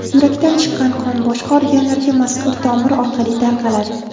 Yurakdan chiqqan qon boshqa organlarga mazkur tomir orqali tarqaladi.